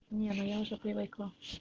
не ну я уже привыкла